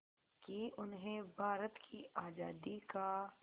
कि उन्हें भारत की आज़ादी का